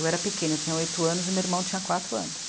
Eu era pequena, eu tinha oito anos e meu irmão tinha quatro anos.